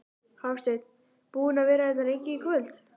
Hafsteinn: Búinn að vera hérna lengi í kvöld?